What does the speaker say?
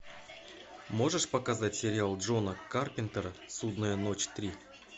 можешь показать сериал джона карпентера судная ночь три